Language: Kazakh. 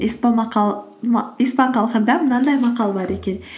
испан халқында мынандай мақал бар екен